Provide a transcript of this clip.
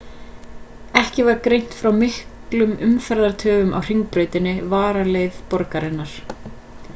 ekki var greint frá miklum umferðartöfum á hringbrautinni varaleið borgarinnar